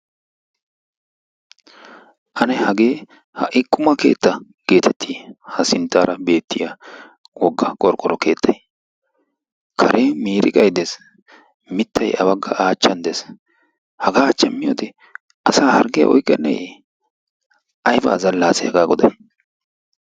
Ane hage ha'i quma keetta getetti! Ha sinttaara beettiya wogga qorqqoro keettay, karen miriqqay dees, mittay a achchan dees, hagaa achchan miyyoode asaa hargge oyqqeneyye! Aybba azalla ase haga goday!